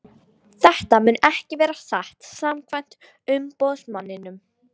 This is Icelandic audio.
Þetta mun ekki vera satt samkvæmt umboðsmanninum.